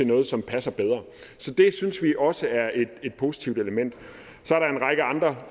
noget som passer bedre så det synes vi også er et positivt element så